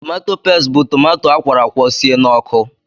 Tomato pestị bụ tomato akwọrọ akwọ sie n'ọkụ.